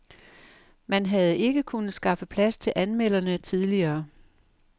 Man havde ikke kunnet skaffe plads til anmelderne tidligere.